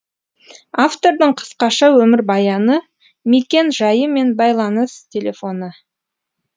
автордың қысқаша өмір баяны мекен жайы мен байланыс телефоны